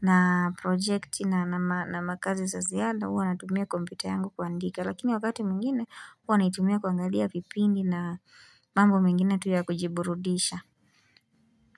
na projekti na makazi za ziada, huw natumia kompyuta yangu kuandika. Lakini wakati mwingine huwa naitumia kuangalia vipindi na mambo mingine tu ya kujiburudisha.